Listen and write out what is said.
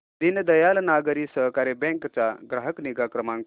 दीनदयाल नागरी सहकारी बँक चा ग्राहक निगा क्रमांक